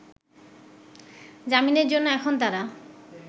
জামিনের জন্য এখন তারা